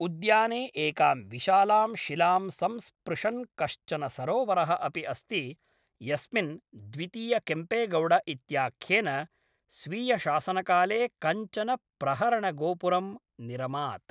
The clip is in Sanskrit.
उद्याने एकां विशालां शिलां संस्पृशन् कश्चन सरोवरः अपि अस्ति यस्मिन् द्वितीयकेम्पेगौड इत्याख्येन स्वीयशासनकाले कञ्चन प्रहरणगोपुरं निरमात्।